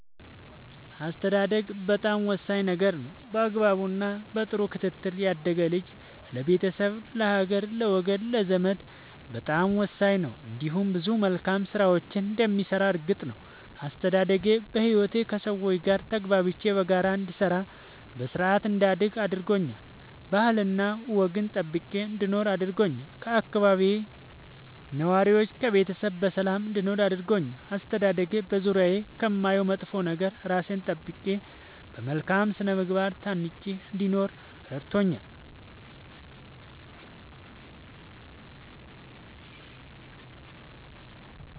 አስተዳደግ በጣም ወሳኝ ነገር ነው በአግባቡ እና በጥሩ ክትትል ያደገ ልጅ ለቤተሰብ ለሀገር ለወገን ለዘመድ በጣም ወሳኝ ነው እንዲሁም ብዙ መልካም ስራዎችን እንደሚሰራ እርግጥ ነው። አስተዳደጌ በህይወቴ ከሠው ጋር ተግባብቼ በጋራ እንድሰራ በስርአት እንዳድግ አድርጎኛል ባህልና ወግን ጠብቄ እንድኖር አድርጎኛል ከአካባቢዬ ነዋሪዎች ከቤተሰብ በሰላም እንድኖር አድርጎኛል። አስተዳደጌ በዙሪያዬ ከማየው መጥፎ ነገር እራሴን ጠብቄ በመልካም ስነ ምግባር ታንጬ እንድኖር እረድቶኛል።